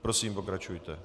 Prosím, pokračujte.